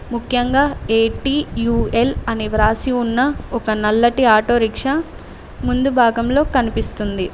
ముఖ్యంగా ఏ_టి_యు_ఎల్ అనే వ్రాసి ఉన్న ఒక నల్లటి ఆటో రిక్షా ముందు భాగంలో కనిపిస్తుంది.